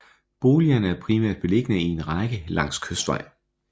Boligerne er primært beliggende i en række langs Kystvej